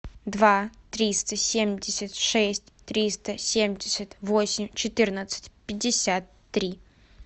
два триста семьдесят шесть триста семьдесят восемь четырнадцать пятьдесят три